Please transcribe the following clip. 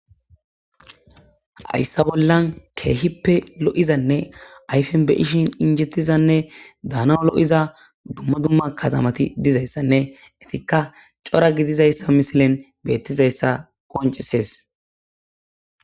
Hayssa bollan keehippe lo'izanne ayfen beyishin injettizanne daana lo'iza dumma dumma katamati dizayssanne etikka cora gidizayssa misilen beettizayssa qoncisees.